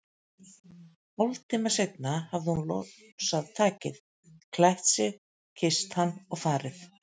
Hálftíma seinna hafði hún losað takið, klætt sig, kysst hann og farið.